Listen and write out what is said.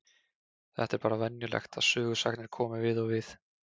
Þetta er bara venjulegt að sögusagnir komi við og við.